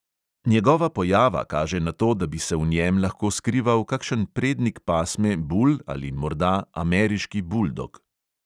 Njegova pojava kaže na to, da bi se v njem lahko skrival kakšen prednik pasme bul ali morda ameriški buldog.